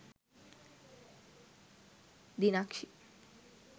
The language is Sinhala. dinakshi